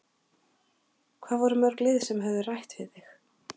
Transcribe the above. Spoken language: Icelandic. Hvað voru mörg lið sem höfðu rætt við þig?